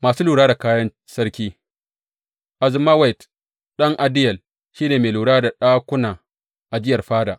Masu lura da kayan sarki Azmawet ɗan Adiyel shi ne mai lura da ɗakuna ajiyar fada.